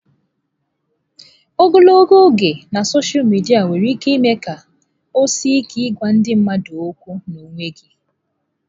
Ogologo oge na sọsha midia nwere ike ime ka ọ sie ike ịgwa ndị mmadụ okwu n'onwe gị.